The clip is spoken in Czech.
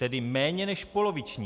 Tedy méně než poloviční.